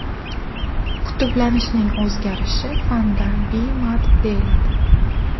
Qutblanishning o‘zgarishi fanda B-mod deyiladi.